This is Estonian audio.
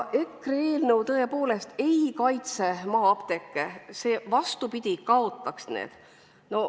EKRE eelnõu tõepoolest ei kaitse maa-apteeke, see vastupidi kaotaks need.